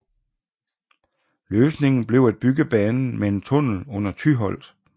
Løsningen blev at bygge banen med en tunnel under Tyholt